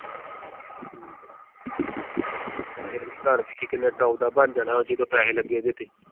ਘਰ ਵੇਖੀ ਕਿੰਨੇ top ਦਾ ਬਣ ਜਾਣਾ ਜਦੋਂ ਪੈਸੇ ਲੱਗੇ ਇਹਦੇ ਤੇ।